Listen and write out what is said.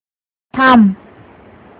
थांब